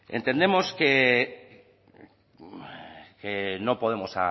entendemos que no podemos